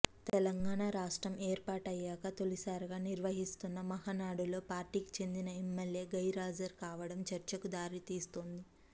తెలంగాణ రాష్ట్రం ఏర్పాటయ్యాక తొలిసారిగా నిర్వహిస్తున్న మహనాడులో పార్టీకి చెందిన ఎమ్మెల్యే గైరాజర్ కావడం చర్చకు దారితీస్తోంది